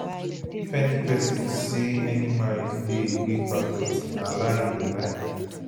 if any pesin say any marriage dey wey perfect na lie e dey lie